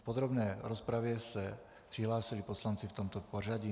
K podrobné rozpravě se přihlásili poslanci v tomto pořadí.